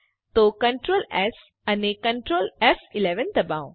તો Ctrl S અને Ctrl ફ11 દબાવો